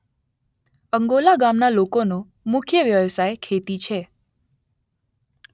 અંગોલા ગામના લોકોનો મુખ્ય વ્યવસાય ખેતી છે